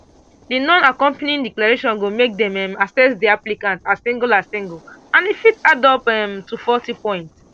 di non accompanying declaration go make dem um assess di applicants as single as single and e fit add up um to forty points